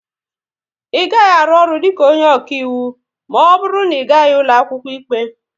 Ị gaghị arụ ọrụ dịka onye ọkaiwu na ọ bụrụ na Ị gaghị ụlọ akwụkwọ ikpe